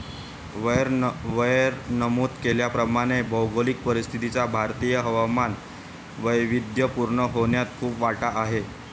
वर नमूद केल्याप्रमाणे भौगोलिक परिस्थितीचा भारतीय हवामान वैविध्यपूर्ण होण्यात खूप वाटा आहे.